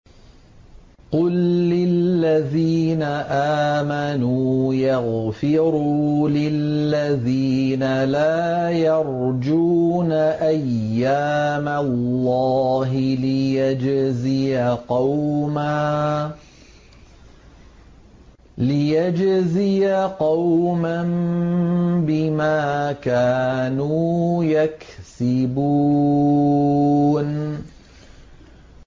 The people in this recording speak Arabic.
قُل لِّلَّذِينَ آمَنُوا يَغْفِرُوا لِلَّذِينَ لَا يَرْجُونَ أَيَّامَ اللَّهِ لِيَجْزِيَ قَوْمًا بِمَا كَانُوا يَكْسِبُونَ